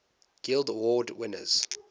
guild award winners